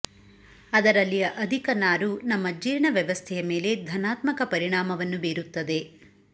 ಅದರಲ್ಲಿಯ ಅಧಿಕ ನಾರು ನಮ್ಮ ಜೀರ್ಣ ವ್ಯವಸ್ಥೆಯ ಮೇಲೆ ಧನಾತ್ಮಕ ಪರಿಣಾಮವನ್ನು ಬೀರುತ್ತದೆ